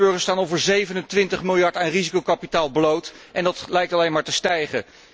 Nederlandse burgers staan voor 27 miljard aan risicokapitaal bloot en dat lijkt alleen maar te stijgen.